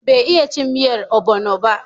Bai iya cin miyan obono ba